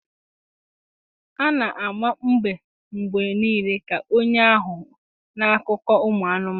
A na-ama mbe mgbe niile ka onye aghụghọ n'akụkọ ụmụ anụmanụ